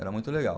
Era muito legal.